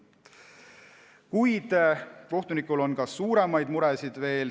Kuid kohtunikel on ka suuremaid muresid.